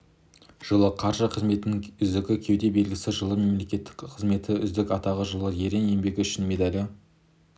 жылы қаржы қызметінің үздігі кеуде белгісі жылы мемлекеттік қызмет үздігі атағы жылы ерен еңбегі үшін медалі